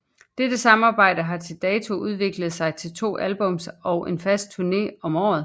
Dette samarbejde har til dato udviklet sig til to albums og en fast turné om året